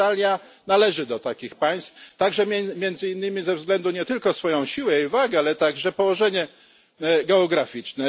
Australia należy do takich państw także, między innymi, ze względu nie tylko na swoją siłę i wagę, ale także położenie geograficzne.